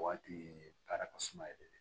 O waati ye baara ka suma yɛrɛ de ye